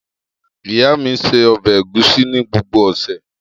Iya mi se ọbẹ Egusi ni gbogbo ose.